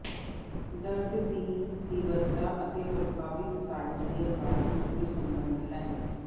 ਦਰਦ ਦੀ ਤੀਬਰਤਾ ਅਤੇ ਪ੍ਰਭਾਵਿਤ ਸਾਈਟ ਦੇ ਆਕਾਰ ਵਿੱਚ ਕੋਈ ਸਬੰਧ ਹੈ